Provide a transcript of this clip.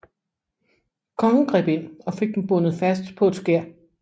Kongen greb ind og fik dem bundet fast på et skær